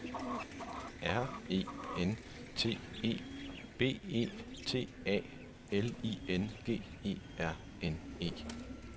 R E N T E B E T A L I N G E R N E